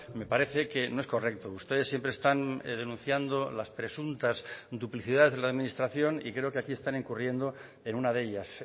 me parece que no es correcto ustedes siempre están denunciando las presuntas duplicidades de la administración y creo que aquí están incurriendo en una de ellas